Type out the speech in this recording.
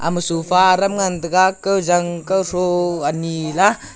ma sofa aram ngan taiga kawjang kawthro anila.